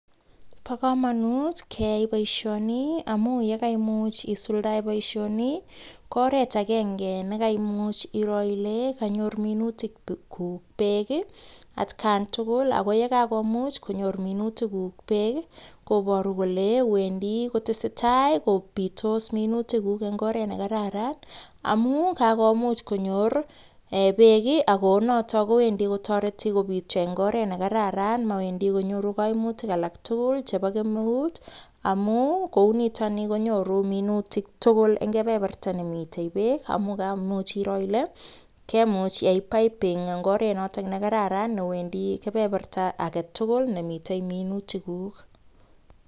Bo kamanut keai boisioni amu ye kaimuch isuldae boisioni, ko oret akenge nekaimuch iro ile kanyor minutikuk beek ii atkan tugul, ako ye kakomuch konyor minutikuk beek, koboru kole wendi kotesetai kobitos minutikuk eng oret ne kararan, amu kakomuch konyor um beek ii, ako notok kowendi kotoreti kobityo eng oret ne kararan mowendi konyoru kaimutik alak tugul chebo kemeut, amu kou nitoni konyoru minutik tugul eng kebeberta ne mitei beek, amu kaimuch iro ile, kemuch iyai piping eng oret notok ne kararan newendi kebeberta age tugul nemitei minutikuk.